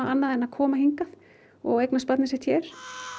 annað en að koma hingað og eignast barnið sitt hér